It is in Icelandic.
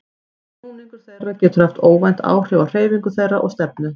Snúningur þeirra getur haft óvænt áhrif á hreyfingu þeirra og stefnu.